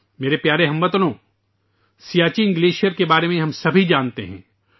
میرے پیارے ہم وطنو ، ہم سب سیاچن گلیشیر کے بارے میں جانتے ہیں